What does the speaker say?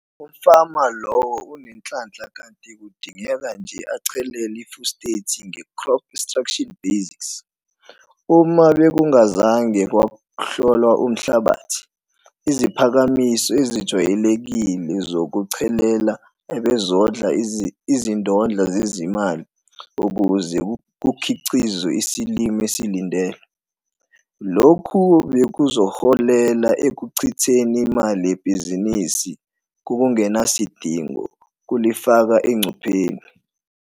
Umfama lowo unenhlanhla kanti kudingeka nje achelele ifosfethi ngecrop extraction base. Uma bekungazange kwahlolwa umhlabathi, iziphakamiso ezijwayelekile zokuchelela abezodla izindodla zezimali ukuze kukhiqizwe isilimo esilindelwe. Lokhu bekuzoholela ekuchitheni imali yebhizinisi ngokungenasidingo kulifaka encuphekweni.